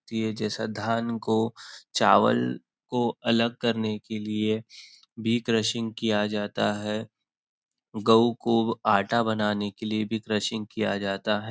ती ये जैसा धान को चावल को अलग करने के लिए भी क्रशिंग किया जाता है गऊ को आटा बनाने के लिए भी क्रशिंग किया जाता है।